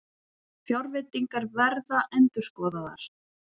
Fjárveitingar verða endurskoðaðar